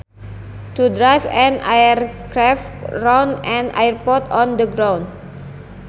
To drive an aircraft around an airport on the ground